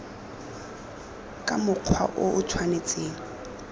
ka mokgwa o o tshwanetseng